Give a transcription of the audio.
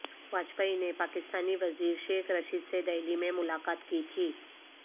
واجپئی نےپاکستانی وزیر شیخ رشید سے دہلی میں ملاقات کی تھی